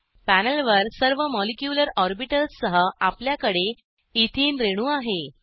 पॅनेलवर सर्व molecular orbitals सह आपल्याकडे एथेने रेणू आहे